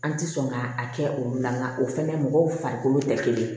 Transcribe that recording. An ti sɔn ka a kɛ olu la nka o fɛnɛ mɔgɔw farikolo tɛ kelen ye